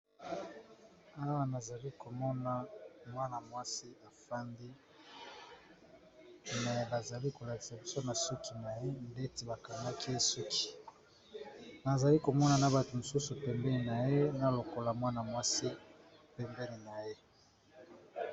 Awa na zali komona mwana-mwasi afandi. Me bazali kolakisa biso, na suki na ye neti bakangaki ye suki. Nazali komona na bato mosusu pembeni na ye, na lokolo ya mwana-mwasi pembeni na ye.